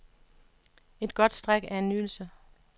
Et godt stræk er en nydelse.